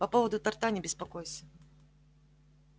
по поводу торта не беспокойся